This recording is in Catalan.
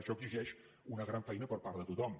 això exigeix una gran feina per part de tothom